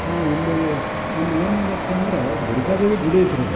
ಹಾಂ ಇಲ್ಲೆ ಇಲ್ಲ್ ಏನ್ ನೋಡಾಕತ್ತೇವಿ ಅಂದ್ರ ದುರ್ಗಾದೇವಿ ಗುಡಿ ಐತ್ರೀ ಇದ್.